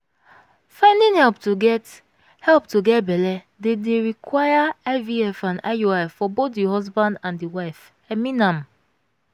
finding help to get help to get belle dey dey require ivf and iui for both the husband and the wife i mean am